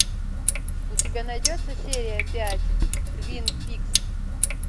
у тебя найдется серия пять твин пикс